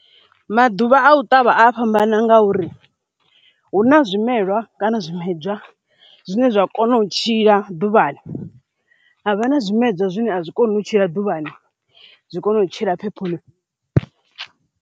Maḓuvha a u ṱavha a fhambana ngauri hu na zwimelwa kana zwimedzwa zwine zwa kona u tshila ḓuvhani havha na zwimedzwa zwine a zwikoni u tshila ḓuvhani zwi kone u tshila phephoni.